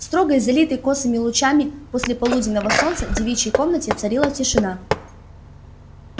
в строгой залитой косыми лучами послеполуденного солнца девичьей комнате царила тишина